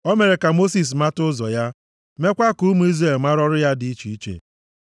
O mere ka Mosis mata ụzọ ya, mekwaa ka ụmụ Izrel mara ọrụ ya dị iche iche: